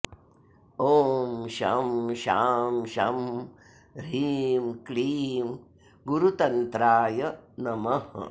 ॐ शं शां षं ह्रीं क्लीं गुरुतन्त्राय नमः